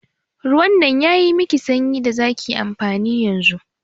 Ruwan nan yayi miki sanyi da zaki amfani da yanzu.